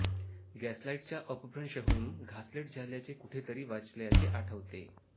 gaslight चा अपभ्रंश होऊन घासलेट झाल्याचे कुठेतरी वाचल्याचे आठवते